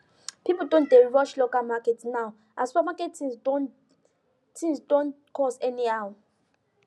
people don dey rush local market now as super market things don things don cost anyhow